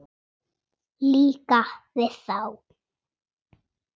Líka við þá.